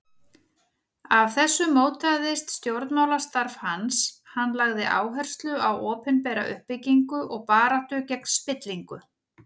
Af þessu mótaðist stjórnmálastarf hans, hann lagði áherslu á opinbera uppbyggingu og baráttu gegn spillingu.